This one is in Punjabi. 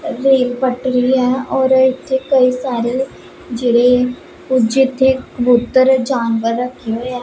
ਰੇਲ ਪਟਰੀ ਹੈ ਔਰ ਇੱਥੇ ਕਈ ਸਾਰੇ ਜਿਹੜੇ ਓਹ ਜਿੱਥੇ ਕਬੂਤਰ ਜਾਨਵਰ ਰੱਖੇ ਹੋਏ ਹੈਂ।